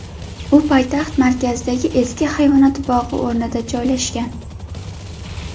U poytaxt markazidagi eski hayvonot bog‘i o‘rnida joylashgan.